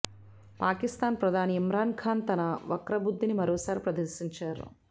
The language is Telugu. పాకిస్థాన్ ప్రధాని ఇమ్రాన్ ఖాన్ తన వక్రబుద్దిని మరోసారి ప్రదర్శించారు